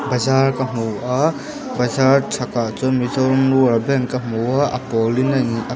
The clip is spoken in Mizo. bazar ka hmu a bazar chhakah chuan mizoram rural bank ka hmu a a pawl inziak--